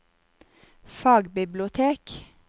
fagbibliotek